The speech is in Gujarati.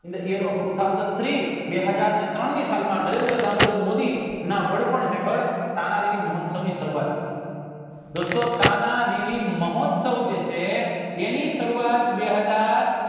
બે હાજર ને ટ્રેનની સાલ માં નરેન્દ્ર દામોદર મોદી ના વડપણ હેઠળ તાનાજીની મહોત્સવ ની સરુવાત દોસ્તો તાનાજીના મહોત્સવ જે છે એની સરુવાત બે હજર